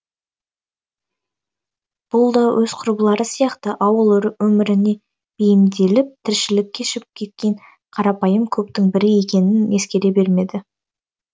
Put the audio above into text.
бұл да өз құрбылары сияқты ауыл өміріне бейімделіп тіршілік кешіп кеткен қарапайым көптің бірі екенін ескере бермейді